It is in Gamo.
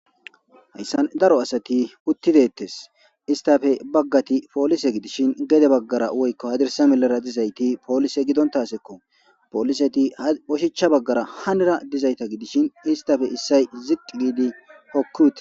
hayssan daro asati uttidettes istafe baggati poolise gidishin gede baggara woykko hadirsa melara dizayti poolise gidontasekko pooliseti oshicha baggara hanira dizayta gidishin istafe issay ziqidi hokkiwite